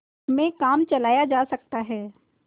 में काम चलाया जा सकता है